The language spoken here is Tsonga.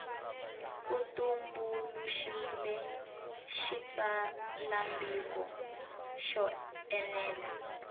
ku tumbuluxiwile xitsalwambiko xo enela